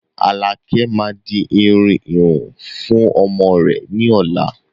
Alakẹ máa di irun ìhun fún ọmọ rẹ ni ọ̀la